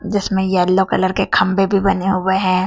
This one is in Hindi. जिस में येलो कलर के खंभे भी बने हुए हैं।